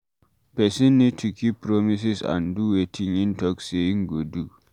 Person need to keep promises and do wetin im talk sey im go do